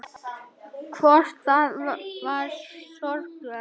Hvort það var sorglegt.